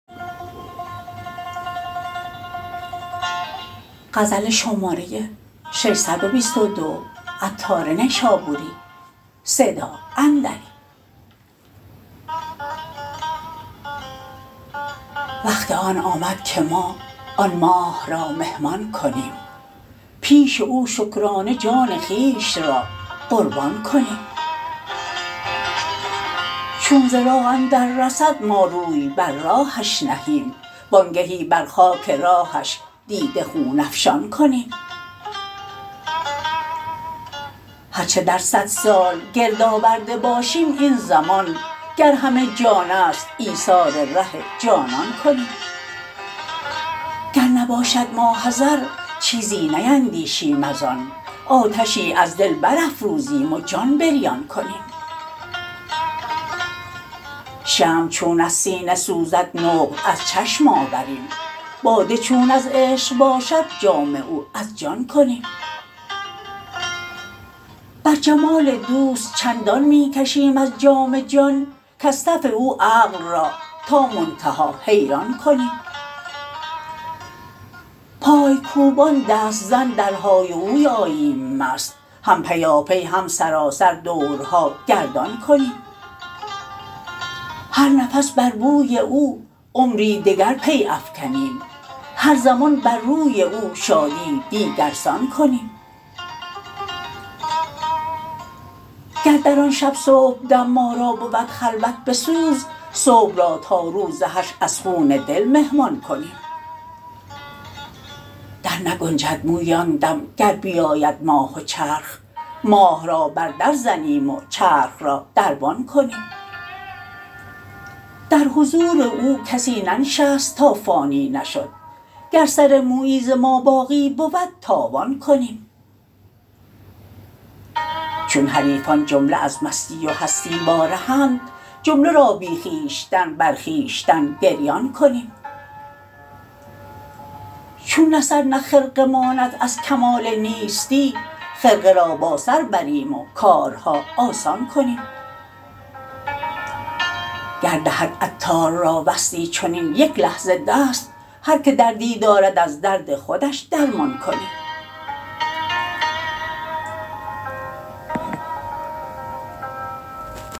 وقت آن آمد که ما آن ماه را مهمان کنیم پیش او شکرانه جان خویش را قربان کنیم چون ز راه اندر رسد ما روی بر راهش نهیم وانگهی بر خاک راهش دیده خون افشان کنیم هرچه در صد سال گرد آورده باشیم این زمان گر همه جان است ایثار ره جانان کنیم گر نباشد ماحضر چیزی نیندیشیم از آن آتشی از دل برافروزیم و جان بریان کنیم شمع چون از سینه سوزد نقل از چشم آوریم باده چون از عشق باشد جام او از جان کنیم بر جمال دوست چندان می کشیم از جام جان کز تف او عقل را تا منتها حیران کنیم پای کوبان دست زن در های و هوی آییم مست هم پیاپی هم سراسر دورها گردان کنیم هر نفس بر بوی او عمری دگر پی افکنیم هر زمان بر روی او شادی دیگرسان کنیم گر در آن شب صبحدم ما را بود خلوت بسوز صبح را تا روز حشر از خون دل مهمان کنیم در نگنجد مویی آن دم گر بیاید ماه و چرخ ماه را بر در زنیم و چرخ را دربان کنیم در حضور او کسی ننشست تا فانی نشد گر سر مویی ز ما باقی بود تاوان کنیم چون حریفان جمله از مستی و هستی وا رهند جمله را بی خویشتن بر خویشتن گریان کنیم چون نه سر نه خرقه ماند از کمال نیستی خرقه را با سر بریم و کارها آسان کنیم گر دهد عطار را وصلی چنین یک لحظه دست هر که دردی دارد از درد خودش درمان کنیم